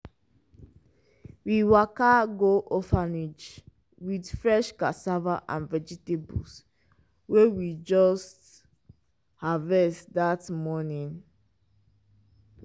we waka go orphanage with fresh cassava and vegetables wey we just harvest that morning.